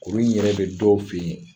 Kurun in yɛrɛ bɛ dɔw fɛ yen.